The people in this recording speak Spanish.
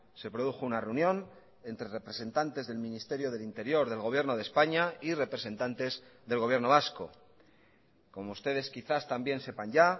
se produjo una reunión entre representantes del ministerio del interior del gobierno de españa y representantes del gobierno vasco como ustedes quizás también sepan ya